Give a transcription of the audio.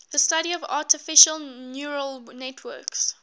the study of artificial neural networks